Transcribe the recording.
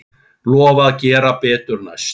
Lofa að gera betur næst.